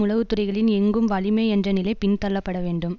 உளவுத்துறைகளின் எங்கும் வலிமை என்ற நிலை பின்தள்ளப்படவேண்டும்